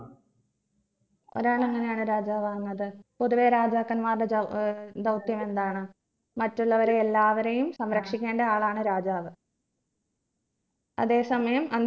ഒരാൾ എങ്ങനെയാണ് രാജാവാകുന്നത് പൊതുവെ രാജാക്കന്മാരുടെ ദൗ ഏർ ധൗത്യം എന്താണ് മറ്റുള്ളവരെല്ലാവരെയും സംരക്ഷിക്കേണ്ട ആളാണ് രാജാവ് അതെ സമയം